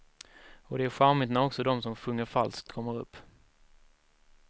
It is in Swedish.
Och det är charmigt när också de som sjunger falskt kommer upp.